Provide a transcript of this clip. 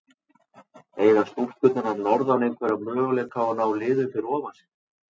Eiga stúlkurnar að norðan einhverja möguleika á að ná liðunum fyrir ofan sig?